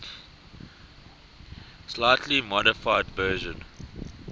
slightly modified version